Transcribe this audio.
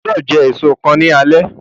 Ogbọ́do jẹ èso kan ní alé